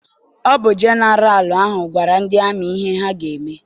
Ọ bụ jeneralụ ahụ gwara ndị amị ahụ ihe ha ga-eme.